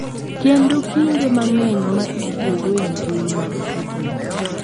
Kendo kinde mang’eny ma itiyogo e mbui mag tudruok.